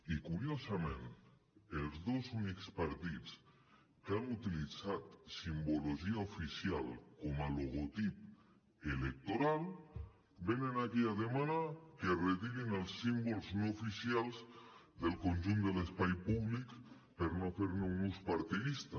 i curiosament els dos únics partits que han utilitzat simbologia oficial com a logotip electoral venen aquí a demanar que es retirin els símbols no oficials del conjunt de l’espai públic per no fer ne un ús partidista